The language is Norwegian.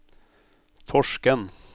Torsken